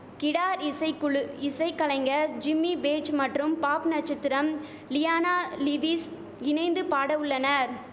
guitar இசை குழு இசை கலைஞர் ஜிம்மி பேஜ் மற்றும் பாப் நச்சத்திரம் லியானா லிவிஸ் இணைந்து பாட உள்ளனர்